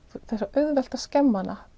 auðvelt að skemma hana